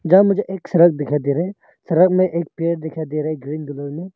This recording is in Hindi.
यह मुझे एक सड़क दिखाई दे रहा है सड़क में पेड़ दिखाई दे रहा है ग्रीन कलर में।